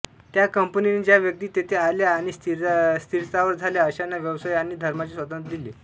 त्या कंपनीने ज्या व्यक्ती तेथे आल्या आणि स्थिरस्थावर झाल्या अशांना व्यवसाय आणि धर्माचे स्वातंत्र्य दिले